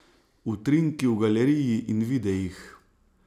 Utrinki v galeriji in videih!